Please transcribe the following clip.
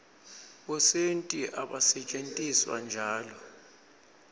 bosenti abasentjetiswa nyalo